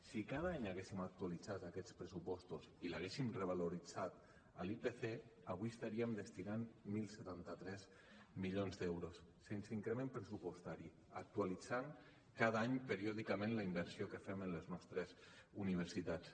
si cada any haguéssim actualitzat aquests pressupostos i els haguéssim revaloritzat a l’ipc avui hi estaríem destinant deu setanta tres milions d’euros sense increment pressupostari actualitzant cada any periòdicament la inversió que fem en les nostres universitats